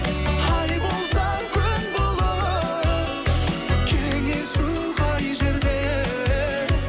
ай болсаң күн болып кеңесу қай жерде